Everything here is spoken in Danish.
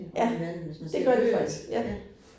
Ja, det gør de faktisk, ja